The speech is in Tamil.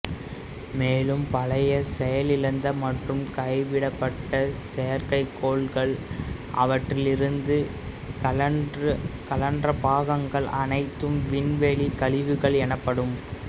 மேலும் பழைய செயலிழந்த மற்றும் கைவிடப்பட்ட செயற்கைக் கோள்கள் அவற்றிலிருந்து கழன்ற பாகங்கள் அனைத்தும் விண்வெளிக் கழிவுகள் எனப்படும்